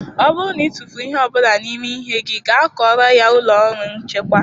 Ọ bụrụ na ị tụfuru ihe ọ bụla n'ime ihe gị gaa kọọrọ ya n'ụlọ ọrụ nchekwa.